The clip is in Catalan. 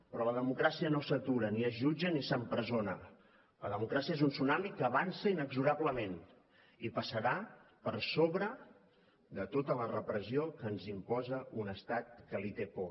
però la democràcia no s’atura ni es jutja ni s’empresona la democràcia és un tsunami que avança inexorablement i passarà per sobre de tota la repressió que ens imposa un estat que li té por